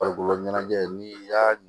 Farikolo ɲɛnajɛ n'i y'a